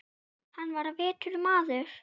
Hann var vitur maður.